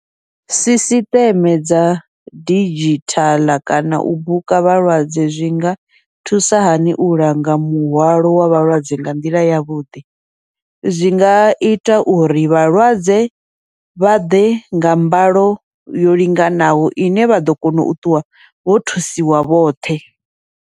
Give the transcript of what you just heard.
Sisiṱeme dza didzhithala kana u buka vhalwadze zwi nga thusa hani u langa muhwalo wa vhalwadze nga nḓila yavhuḓi, zwi nga ita uri vhalwadze vha ḓe nga mbalo yo linganaho, ine vha ḓo kona u ṱuwa vho thusiwa vhoṱhe.